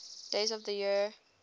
days of the year